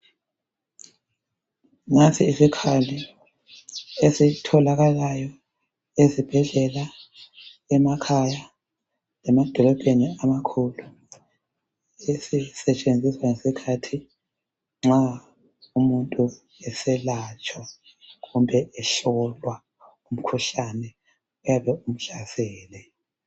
Nansi isikhali esitholakalayo ezibhedlela, emakhaya lemadolobheni amakhulu sisetshenziswa ngesikhathi nxa umuntu eselatshwa kumbe ehlolwa umkhuhlane oyabe umhlasele.